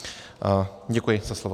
Děkuji za slovo.